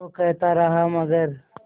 वो कहता रहा मगर